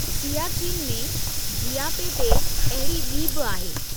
सियाचीन में जियापे ते अहिड़ी ॿी बि आहे।